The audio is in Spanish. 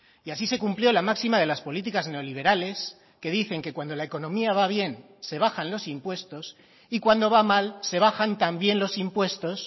y así se cumplió la máxima de las políticas neoliberales que dicen que cuando la economía va bien se bajan los impuestos y cuando va mal se bajan también los impuestos